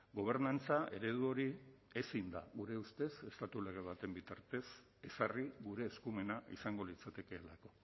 gobernantza eredu hori ezin da gure ustez estatu lege baten bitartez ezarri gure eskumena izango litzatekeelako